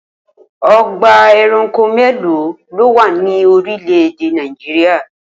O̩gbà e̩ranko mélòó ló wà ní orílè̩-èdè Nàìjíríà?